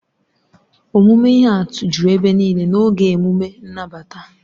Omume ihe atụ juru ebe niile n'oge emume nnabata.